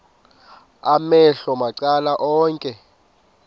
amehlo macala onke